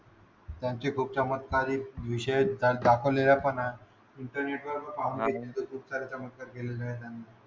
त्यांचे खूप चमत्कारी विषय तर दाखवलेल्या पण आहे इंटरनेट वर पाहून घे खूप सारे चमत्कार केलेले आहेत त्यांनी